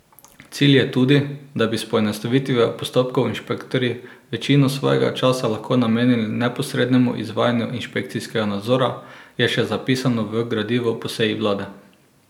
Cilj je tudi, da bi s poenostavitvijo postopkov inšpektorji večino svojega časa lahko namenili neposrednemu izvajanju inšpekcijskega nadzora, je še zapisano v gradivu po seji vlade.